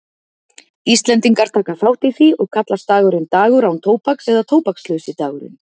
Íslendingar taka þátt í því og kallast dagurinn dagur án tóbaks eða tóbakslausi dagurinn.